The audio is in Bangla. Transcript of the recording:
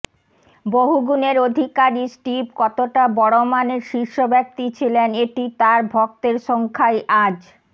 বহুগুণের অধিকারী স্টিভ কতটা বড় মানের শীর্ষব্যক্তি ছিলেন এটি তাঁর ভক্তের সংখ্যাই আজ